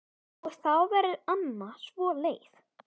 Og þá verður amma svo leið.